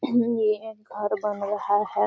ये एक घर बन रहा है।